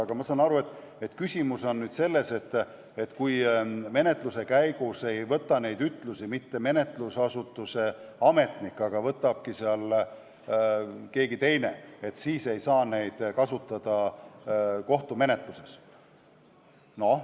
Aga ma saan aru, et küsimus on nüüd selles, et kui menetluse käigus ei võta ütlusi mitte menetlusasutuse ametnik, vaid keegi teine, siis ei saa neid ütlusi kohtumenetluses kasutada.